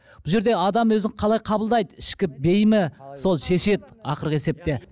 бұл жерде адам өзін қалай қабылдайды ішкі бейімі сол шешеді ақырғы есепте